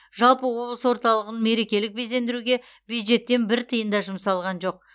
жалпы облыс орталығын мерекелік безендіруге бюджеттен бір тиын да жұмсалған жоқ